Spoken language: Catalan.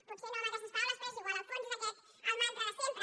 potser no amb aquestes paraules però és igual el fons és aquest el mantra de sempre